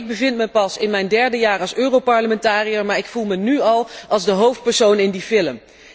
Nu, ik bevind mij pas in mijn derde jaar als europarlementariër, maar ik voel mij nu al als de hoofdpersoon in die film.